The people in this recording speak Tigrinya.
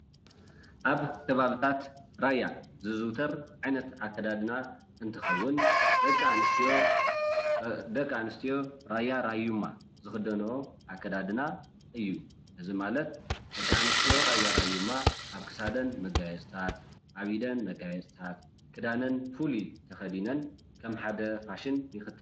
ኣብ ከባብታት ራያ ዝዝውተር ዓይነት ኣከዳድና እንትኸውን ደቂ ኣንስትዮ ራያ ራዩማ ዝኽደንኦ ኣከዳድና እዩ። እዚ ማለት ደቂ ኣንስትዮ ራያ ራዩማ ኣብ ክሳደን መጋየፅታት፣ ኣብ ኢደን መጋየፅታት፣ ክዳነን ፍሉይ ተኸዲነን ከም ሓደ ፋሽን ይኸደና።